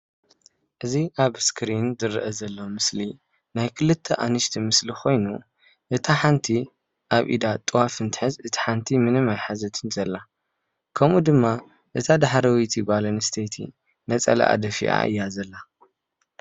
እዚ ኣብ እስክሪን ዝርአ ዘሎ ምስሊ ናይ ክልተ ኣንስቲ ምስሊ ኮይኑ እታ ሓንቲ ኣብ ኢዳ ጥዋፍ እንትሕዝ እታ ሓንቲ ምንም ኣይሓዘትን ዘላ። ከምኡ ድማ እታ ዳሕረወይቲ ጓል ኣነስተይቲ ነፃላኣ ደፊአ እያ ዘላ።